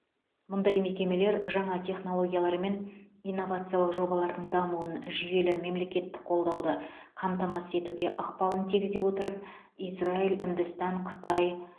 мұндай мекемелер жаңа технологиялар мен инновациялық жобалардың дамуын жүйелі мемлекеттік қолдауды қамтамасыз етуге ықпалын тигізе отырып израиль үндістан қытай